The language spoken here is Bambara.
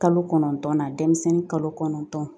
Kalo kɔnɔntɔn na denmisɛnnin kalo kɔnɔntɔn